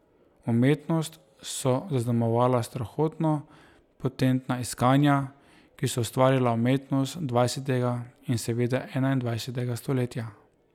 Umetnost so zaznamovala strahotno potentna iskanja, ki so ustvarila umetnost dvajsetega in seveda enaindvajsetega stoletja.